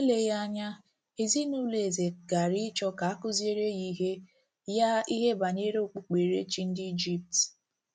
Eleghị anya, ezinụlọ eze gaara achọ ka a kụziere ya ihe ya ihe banyere okpukperechi ndị Ijipt.